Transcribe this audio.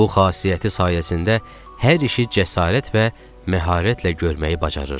Bu xasiyyəti sayəsində hər işi cəsarət və məharətlə görməyi bacarırdı.